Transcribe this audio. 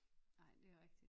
Nej det rigtig